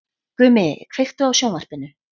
Gumi, kveiktu á sjónvarpinu.